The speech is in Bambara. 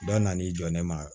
Dɔ nan'i jɔ ne ma